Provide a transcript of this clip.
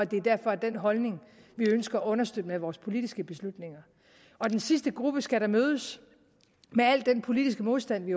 det derfor er den holdning vi ønsker at understøtte med vores politiske beslutninger og den sidste gruppe skal da mødes med al den politiske modstand vi